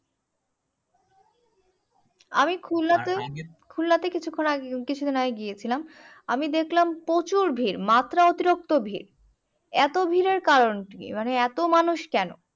আমি খুল্লাতে কিছুক্ষন কিছুদিন আগে গিয়েছিলাম। আমি দেখলাম প্রচুর ভিড় মাত্রা অতিরিক্ত ভিড়। এতো ভিড়ের কারণ কি মানে এতো ভিড় কেন?